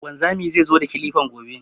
Wanzami zai zo da kilifan gobe